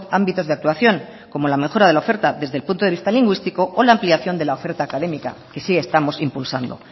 ámbitos de actuación como la mejora de la oferta desde el punto de vista lingüístico o la ampliación de la oferta académica que sí estamos impulsando